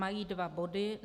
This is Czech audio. Mají dva body.